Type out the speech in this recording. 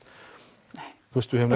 og